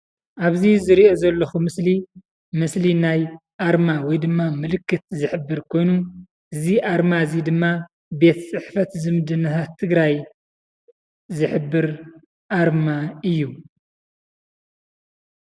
ኣብ እዚ ዝርኦ ዘለኩ ምስሊ ምስሊ ናይ ኣርማ ወይ ድማ ምልክት ዝሕብር ኮይኑ እዚ ኣርማ እዚ ድማ ቤት ፅሕፈት ዝምድናታት ትግራይ ዝሕብር ኣርማ እዩ።